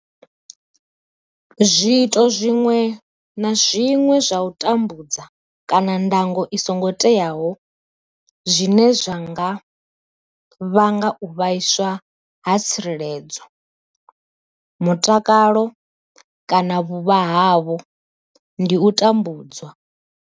Zwiito zwiṅwe na zwiṅwe zwa u tambudza kana ndango i songo teaho zwine zwa nga vhanga u vhaiswa ha tsireledzo, mutakalo kana vhuvha havho ndi u tambudzwa.